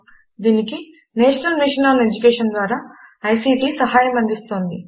దీనికి national mission on education ద్వారా ICT సహాయం అందిస్తోంది